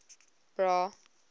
bra